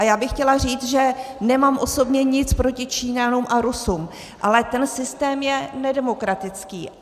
A já bych chtěla říct, že nemám osobně nic proti Číňanům a Rusům, ale ten systém je nedemokratický.